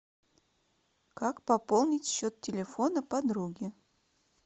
как пополнить счет телефона подруги